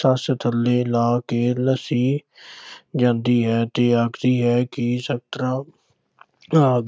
ਸੱਸ ਥੱਲੇ ਲਾਹ ਕੇ ਨਾਸੀ ਜਾਂਦੀ ਹੈ ਤੇ ਆਖਦੀ ਹੈ ਕਿ